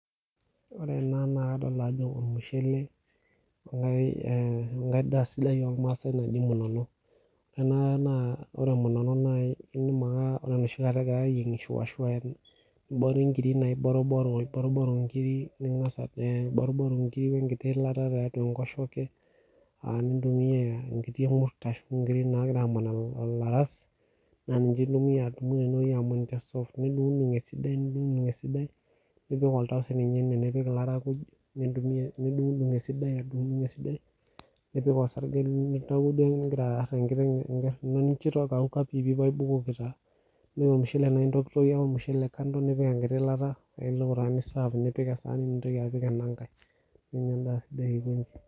Ore ena naa kadolita Ajo ormushele wee nkae ndaa sidai ormaasai naji munono ore munono naa ore enoshi kata egirai eyiengisho naa eboruboru enkiri wenkiti yilata tiatua enkoshoke nintumia enkiri emuret ashu aman elaras nidungudung esidai nipik Oltau nipik elairakuj nidungudung pii aitobiraki ninjo ekauka pii nibukoki osarge ore ormushele naa entokitokie ake kando nipik eyilata nitau taa niserve nipik ena sahani nintoki apik ena nkae eitu adol endaa sidai aikoji